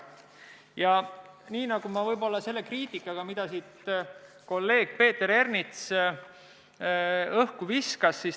Ma võib-olla selle kriitikaga, mida kolleeg Peeter Ernits õhku viskas.